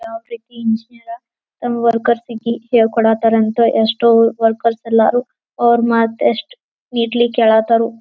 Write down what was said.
ಆಫ್ರಿಕಿ engineer ತಮ್ಮ workers ಗಿ ಹೇಳಿ ಕೋಡ್ ತ್ತರ್ ಅಂತ ಎಷ್ಟೋ ವರ್ಕರ್ಸ್ ಎಲ್ಲಾರು ಅವ್ರ್ ಮಾಡ್ ದಷ್ಟ್ ನೀಡ್ ಲಿಕ್ಕ ಹೇಳತರು.